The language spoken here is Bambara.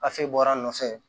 bɔra a nɔfɛ